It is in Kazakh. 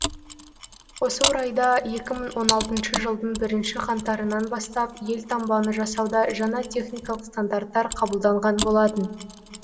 осы орайда екі мың он алтыншы жылдың бірінші қаңтарынан бастап елтаңбаны жасауда жаңа техникалық стандарттар қабылданған болатын